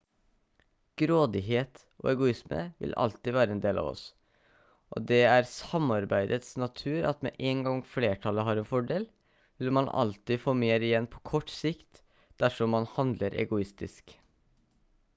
grådighet og egoisme vil alltid være en del av oss og det er samarbeidets natur at med en gang flertallet har en fordel vil man alltid få mer igjen på kort sikt dersom man handler egoistisk